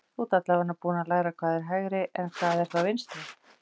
Þú ert allavega búinn að læra hvað er hægri en hvað er þá vinstri?